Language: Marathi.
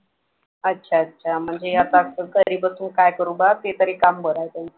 अच्छा अच्छा म्हणजे आता घरी बसून काय करू बा ते तरी काम बरं आहे त्यांचं